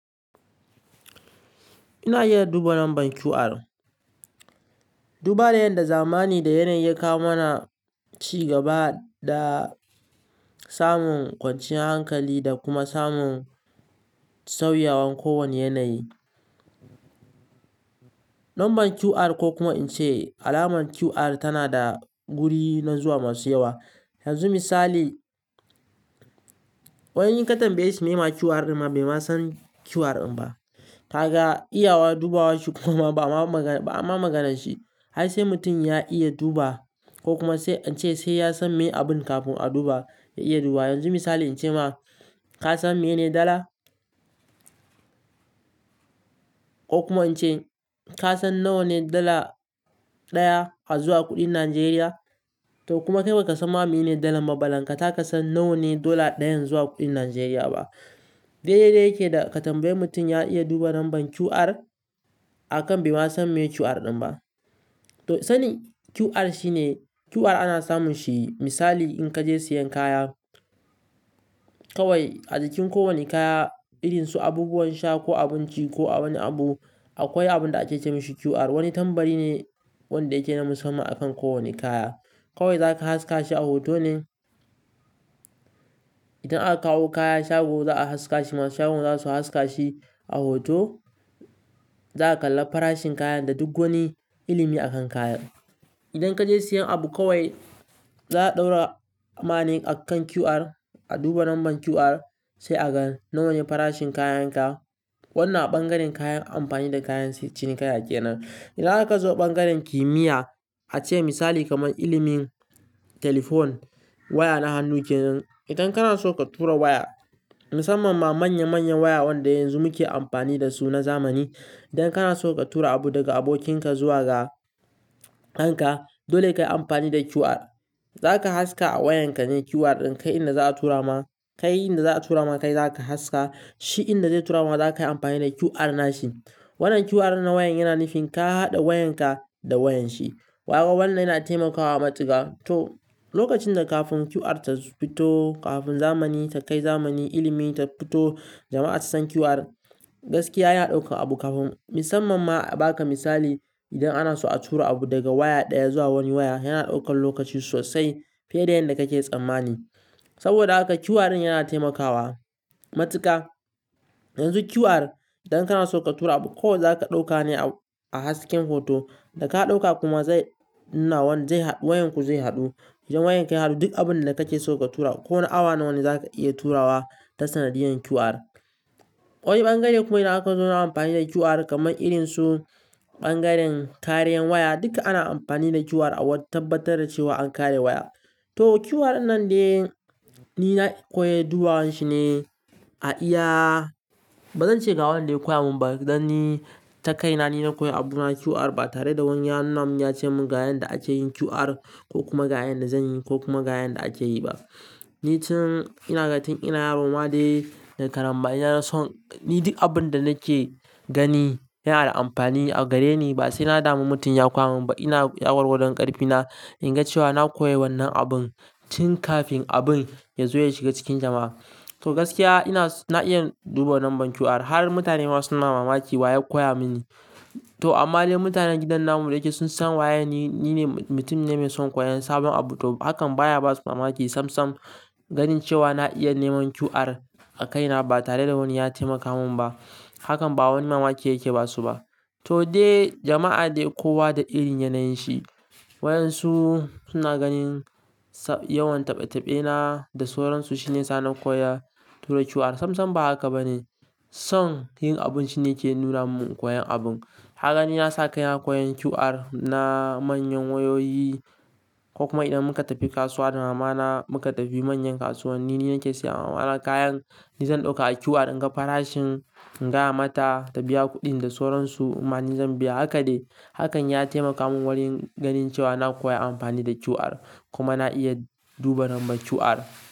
Ina iya duba lambar QR. Duba da yadda zamani da yanayi ya kawo mana cigaba da samun kwanciyar hankali da kuma samun sauyawan kowane yanayi. Lambar QR ko kuma in ce alamar QR tana da guri na zuwa masu yawa. Yanzu misali, wani in ka tambaye shi meye ma QR ɗin ma bai ma san QR ɗin ba. Ka ga iyawa dubawa shi kuma ba a ma magana shi. Ai sai mutum ya iya duba ko kuma sai in ce sai ya san me abun kafin a duba ya iya duba. Yanzu misali in ce ma ka san meye ne dala? Ko kuma in ce ka san nawa ne dala ɗaya a zuwa kuɗin Najeriya? To kuma kai ba ka san ma mene dala balantaka ka san nawa ne dala ɗayan zuwa kuɗin Najeriya ba. Dai dai yake da ka tambaye mutum ya iya duba lambar QR a kan bai ma san me QR ɗin ba. To sani QR shine QR ana samun shi misali in ka je siyan kaya kawai a jikin kowane kaya, irin su abubuwan sha ko abinci ko a wani abu akwai abun da ake ce mishi QR. Wani tambari ne wanda yake na musamman akan kowane kaya. Kawai zaka haska shi a hoto ne. Idan aka kawo kaya shago za a haska shi masu shagon za su haska shi a hoto. Za a kalla farashin kayan da duk wani ilimi akan kayan. Idan kaje siyan abu kawai za a ɗaura ma ne akan QR, a duba lambar QR sai a ga nawa ne farashin kayan ka. Wannan a ɓangaren kayan amfani da kayan cinikayya kenan. Idan aka zo ɓangaren kimiyya, a ce misali kamar ilimin Telephone waya na hannu kenan. Idan kana so ka tura waya musamman ma manya manyan waya wanda yanzu muke amfani da su na zamani. Idan kana so ka tura abu daga abokinka zuwa ga kanka dole kayi amfani da QR. Zaka haska a wayanka ne QR ɗin kai inda za a tura ma kai, inda za a tura ma kai zaka haska shi inda zai tura ma za kayi amfani da QR na shi. Wannan QR na wayan yana nufin ka haɗa wayanka da wayan shi. Kaga wannan yana taimakawa matuka. To lokacin da kafin QR ta fito kafin zamani ta kai zamani ilimi ta fito jama'a ta san QR. Gaskiya yana ɗaukar abu kafin musamman ma ba ka misali idan ana so a tura abu daga waya ɗaya zuwa wani waya yana ɗaukar lokaci sosai fiye da yanda kake tsammani. Saboda haka QR in yana taimakawa matuka. Yanzu QR idan kana so ka tura abu kawai zaka dauka ne a hasken hoto da ka dauka kuma zai wayanku zai hadu Idan wayanka ya hadu duk abinda kake so ka tura ko na awa ne zaka iya turawa ta sanadiyyar QR Wani ɓangare kuma idan aka zo na amfani da QR kamar irin su ɓangaren kariyar waya duka ana amfani da QR a wani tabbatar da cewa an kare waya. To QR nan dai ni na koyi dubawanshi ne a iya bazan ce ga wanda ya koya mun ba dan ni ta kaina ni na koyi abuna QR ba tare da wani hannun ya ce mun ga yanda ake yin QR ko kuma ga yanda zan yi ko kuma ga yanda ake yi ba. Ni tun ina ga tun ina yaro ma dai na karama ina son ni duk abun da nake gani yana da amfani a gareni ba sai na damu mutum ya koya mun ba ina ya gwan gwan ƙarfina in ga cewa na koyi wannan abun tun kafin abun ya zo ya shiga cikin jama'a. To gaskiya ina na iya duba lambar QR har mutane ma suna mamaki wa ya koya mini. To amma dai mutanen gidan namu da yake sun san waye ni ne mutum ne mai son koyon sabon abu to hakan baya basu mamaki sam sam ga jin cewa na iya neman QR a kaina ba tare da wani ya taimaka mun ba. Hakan ba wani mamaki yake ba su ba. To dai jama'a dai kowa da irin yanayin shi. Wayan su suna ganin yawan taɓe taɓe na da sauransu shine sanin koya tura QR sam sam ba haka ba ne. Son yin abun shine yake nura mun koyon abun. Haka ni na saka ina koyon QR na manyan wayoyi ko kuma idan muka tafi kasuwa da mamana muka tafi manyan kasuwanni ni nake siya ma mama kayan ni zan ɗauka a QR in ga farashin in gaya mata ta biya kuɗin da sauransu ma ni zan biya. Haka dai hakan ya taimaka mun wurin ganin cewa na koyi amfani da QR kuma na iya duba lambar QR.